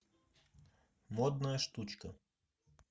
модная штучка